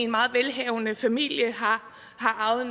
meget velhavende familie og har arvet